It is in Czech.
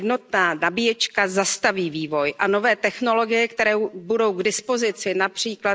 Jednotná nabíječka zastaví vývoj a nové technologie, které budou k dispozici např.